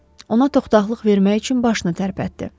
Ona toxdalıq vermək üçün başını tərpətdi.